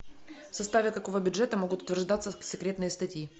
в составе какого бюджета могут утверждаться секретные статьи